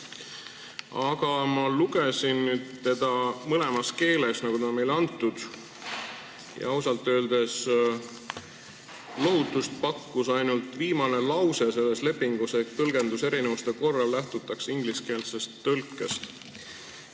Aga ma lugesin seda nüüd mõlemas keeles, nagu meile ette on antud, ja ausalt öeldes pakkus lohutust ainult viimane lause selles lepingus, et tõlgenduserinevuste korral lähtutakse ingliskeelsest tekstist.